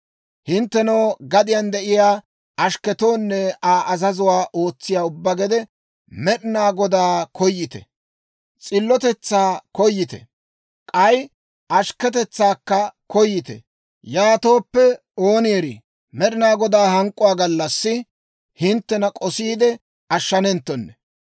Hinttenoo, gadiyaan de'iyaa ashkketoonne Aa azazuwaa ootsiyaa ubbaa gede, Med'inaa Godaa koyite; s'illotetsaa koyite; k'ay ashkketetsaakka koyite. Yaatooppe, ooni erii, Med'inaa Godaa hank'k'uwaa gallassi hinttena k'osiide ashshanenttonne.